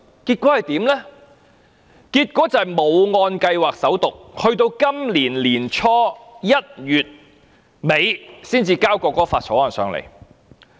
結果是該法案沒有按計劃進行首讀，直至今年年初1月底時才向立法會提交。